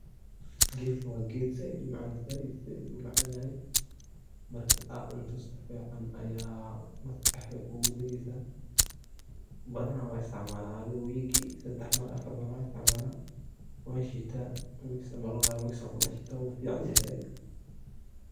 geet kan wa geet saait u macan saait saait u macanyahay markat cuntoh sufican aya ugu dageysah bathanaa wan isticmalah adithi week ki sedax mar afar mar wa isticmalah wa sheetah mar mar qaar makas aya kuadaxritah wuficanyahay saait